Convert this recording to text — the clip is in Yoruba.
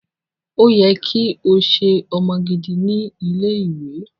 O yẹ ki o ṣe ọmọ gidi ni ile-iwe.